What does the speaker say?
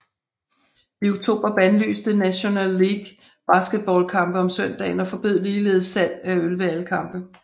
I oktober bandlyste National League baseballkampe om søndagen og forbød ligeledes salg af øl ved alle kampe